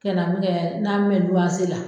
Ka min kɛ n'an bɛ luwanse la